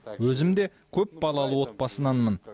өзім де көпбалалы отбасынанмын